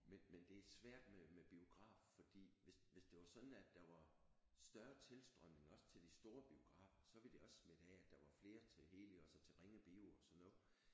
Men men det er svært med med biograf fordi hvis hvis det det var sådan at der var større tilstrømning også til de store biografer så ville det også smitte af at der var flere til Helios og så til Ringe Bio og sådan noget